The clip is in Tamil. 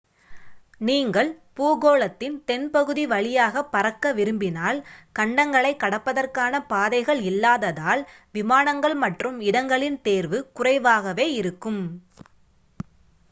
நீங்கள் பூகோளத்தின் தென்பகுதி வழியாக பறக்க விரும்பினால் கண்டங்களைக் கடப்பதற்கான பாதைகள் இல்லாததால் விமானங்கள் மற்றும் இடங்களின் தேர்வு குறைவாகவே இருக்கும்